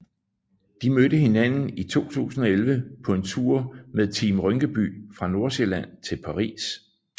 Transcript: De mødte hinanden i 2011 på en tur med Team Rynkeby fra Nordsjælland til Paris